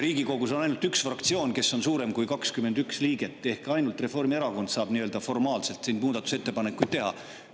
Riigikogus on ainult üks fraktsioon, mis on suurem kui 21 liiget, ehk ainult Reformierakond saab nii-öelda formaalselt siin muudatusettepanekuid teha.